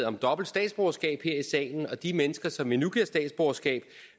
om dobbelt statsborgerskab her i salen og de mennesker som vi nu giver statsborgerskab